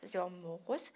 Fazer o almoço.